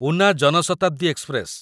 Una Jan Shatabdi express